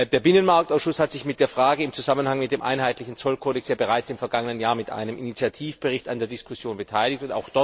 Der Binnenmarktausschuss hat sich mit der Frage im Zusammenhang mit dem einheitlichen Zollkodex bereits im vergangenen Jahr im Rahmen eines Initiativberichts an der Diskussion beteiligt.